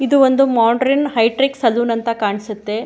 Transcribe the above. ಇದು ಒಂದು modern high ಟ್ರಿಕ್ ಸಲೂನ್ ಅಂತ ಕಾಣ್ಸತ್ತೆ.